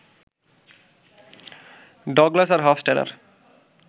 Douglas আর Hofstadter